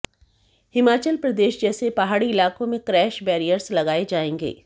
हिमाचल प्रदेश जैसे पहाड़ी इलाकों में क्रैश बैरियर्स लगाए जाएंगे